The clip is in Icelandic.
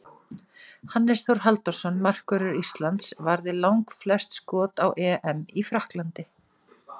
Hannes Þór Halldórsson, markvörður Íslands, varði langflest skot á EM í Frakklandi.